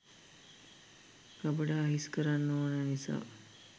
ගබඩා හිස් කරන්න ඕන නිසා.